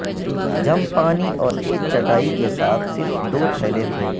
جم پانی اور ایک چٹائی کے ساتھ صرف دو تھیلے تھے